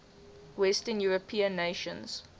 western european nations